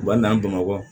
U b'a n'an bamakɔ